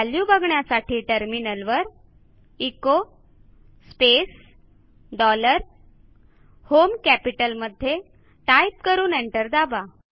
value बघण्यासाठी टर्मिनलवर echo space dollar home कॅपिटलमध्ये टाईप करून एंटर दाबा